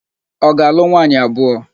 Ọ ga-alụ nwaanyị abụọ?